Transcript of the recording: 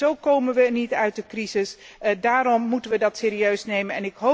Zo komen we niet uit de crisis en daarom moeten we dat serieus nemen.